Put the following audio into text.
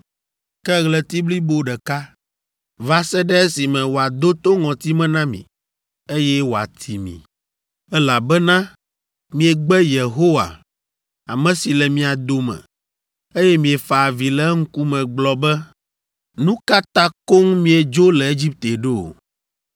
ke ɣleti blibo ɖeka, va se ɖe esime wòado to ŋɔtime na mi, eye wòati mi, elabena miegbe Yehowa, ame si le mia dome, eye miefa avi le eŋkume gblɔ be, “Nu ka ta koŋ míedzo le Egipte ɖo?” ’”